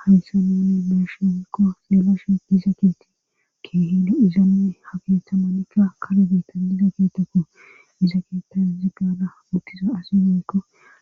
haysamune meshinikko fialashe diza keeti keehilo izanane ha keethamanikka kare betan diza keetekko iza keeta zigaada mukisa asinenekko